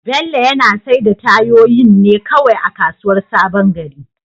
Bello yana saida tayoyin ne kawai a kasuwar sabon gari.